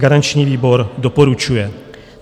Garanční výbor doporučuje.